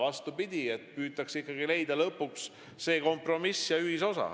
Vastupidi, püütakse ikkagi leida kompromisse ja ühisosa.